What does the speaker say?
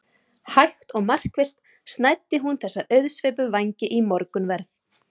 Hægt og markvisst snæddi hún þessa auðsveipu vængi í morgunverð.